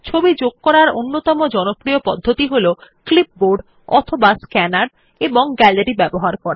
ছবি যোগ করার অন্যতম জনপ্রিয় পদ্ধতি হল ক্লিপবোর্ড অথবা স্ক্যানার এবং গ্যালারীর ব্যবহার করা